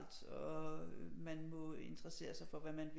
Og man må interessere sig for hvad man